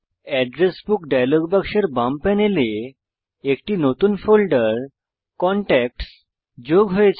address book dialog বাক্সের বাম প্যানেলে একটি নতুন ফোল্ডার কনট্যাক্টস যোগ হয়েছে